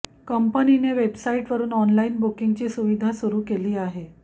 कंपनीने वेबसाईटवरून ऑनलाइन बुकिंगची सुविधा सुरु केली आहे